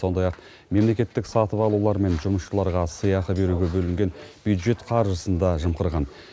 сондай ақ мемлекеттік сатып алулар мен жұмысшыларға сыйақы беруге бөлінген бюджет қаржысын да жымқырған